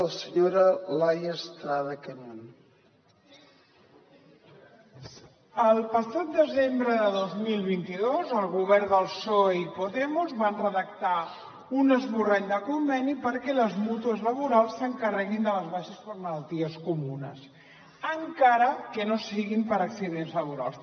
el passat desembre de dos mil vint dos el govern del psoe i podemos van redactar un esborrany de conveni perquè les mútues laborals s’encarreguin de les baixes per malalties comunes encara que no siguin per accidents laborals